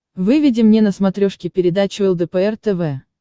выведи мне на смотрешке передачу лдпр тв